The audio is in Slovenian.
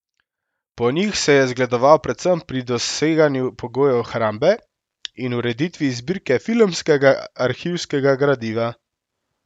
Po njih se je zgledoval predvsem pri doseganju pogojev hrambe in ureditvi zbirke filmskega arhivskega gradiva.